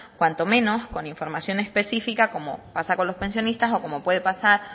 cuanto menos con información específica como pasa con los pensionistas o como puede pasar